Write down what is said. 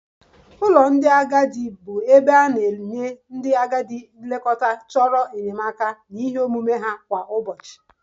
Ụlọ ndị agadi bụ ebe a na-enye ndị agadi nlekọta chọrọ enyemaka na ihe omume ha kwa ụbọchị